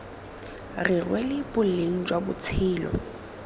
re lwela boleng jwa botshelo